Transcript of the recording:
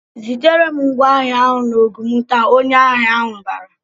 "Zitere m ngwá ahịa n'Ogun taa!" Onye ahịa ahụ bara.